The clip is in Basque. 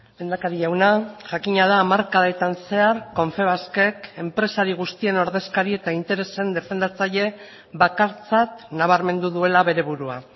lehendakari jauna jakina da hamarkadetan zehar confebaskek enpresari guztien ordezkari eta interesen defendatzaile bakartzat nabarmendu duela bere burua